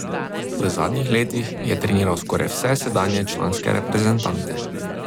V zadnjih letih je treniral skoraj vse sedanje članske reprezentante.